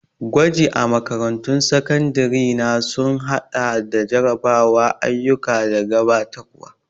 Gwaji a makarantun sakandare na sun haɗa da jarrabawa, ayyuka da gabatarwa.